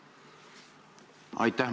Aitäh!